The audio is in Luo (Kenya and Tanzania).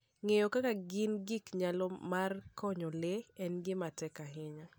Ng'eyo kaka gin gi nyalo mar konyo le en gima tek ahinya.